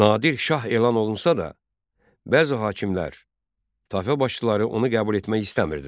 Nadir Şah elan olunsa da, bəzi hakimlər, tayfa başçıları onu qəbul etmək istəmirdilər.